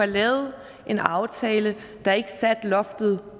lavet en aftale der ikke satte loftet